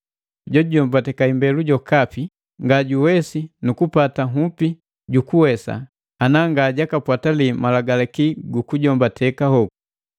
Jojujombateka imbelu jokapi nga kuwesa nukupata nhupi jukuwesa ngati ananga jakapwatalii malagalaki gu kujombateka hoku.